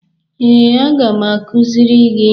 Ee, aga m akụziri gị.